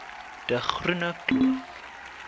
de groene kloof